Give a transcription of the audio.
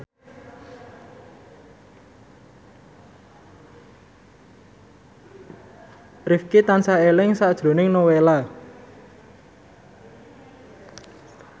Rifqi tansah eling sakjroning Nowela